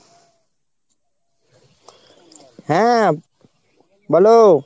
হ্যাঁ বলো।